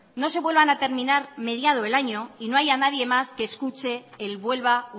no se vuelvan a terminar mediado el año y no haya nadie más que escuche el vuelva